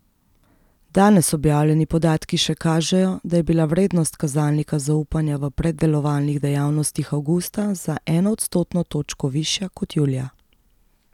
Danes objavljeni podatki še kažejo, da je bila vrednost kazalnika zaupanja v predelovalnih dejavnostih avgusta za eno odstotno točko višja kot julija.